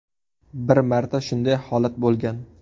Bir marta shunday holat bo‘lgan.